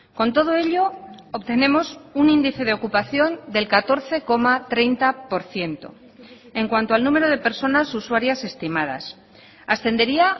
con todo ello obtenemos un índice de ocupación del catorce coma treinta por ciento en cuanto al número de personas usuarias estimadas ascendería